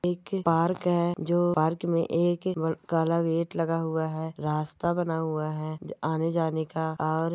एक पार्क है जो पार्क में एक काला गेट लगा हुआ है रास्ता बना हुआ है आने जाने का और--